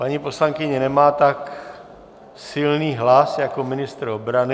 Paní poslankyně nemá tak silný hlas jako ministr obrany.